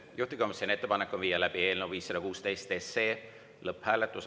Juhtivkomisjoni ettepanek on viia läbi eelnõu 516 lõpphääletus.